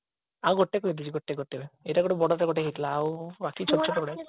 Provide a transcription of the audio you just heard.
ଆଉ ଗୋଟେ କହୁଥିଲି ଗୋଟେ ଗୋଟେ ଏଇଟା ଗୋଟେ ବଡଟା ଗୋଟେ ହେଇଥିଲା ଆଉ ବାକୁ ଛୋଟ ଛୋଟ ଗୁଡା